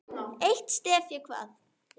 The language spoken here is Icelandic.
Eitt stef ég kvað.